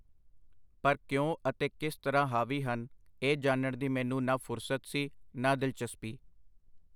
ਪਰ ਕਿਉਂ ਅਤੇ ਕਿਸ ਤਰ੍ਹਾਂ ਹਾਵੀ ਹਨ, ਇਹ ਜਾਣਨ ਦੀ ਮੈਨੂੰ ਨਾ ਫੁਰਸਤ ਸੀ, ਨਾ ਦਿਲਚਸਪੀ.